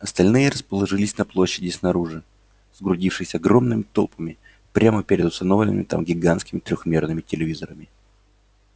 остальные расположились на площади снаружи сгрудившись огромными толпами прямо перед установленными там гигантскими трёхмерными телевизорами